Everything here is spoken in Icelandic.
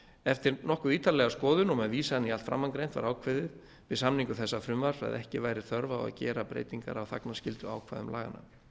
eftir nokkuð ítarlega skoðun og með vísan í allt framangreint var ákveðið við samningu þessa frumvarps að ekki væri þörf á að gera breytingar á þagnarskylduákvæðum laganna